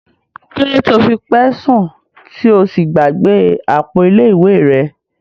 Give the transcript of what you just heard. Kilode ti o fi pẹ sun ti o sí gbàgbé àpò ilé ìwé rẹ?